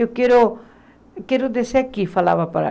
Eu quero quero descer aqui, falava para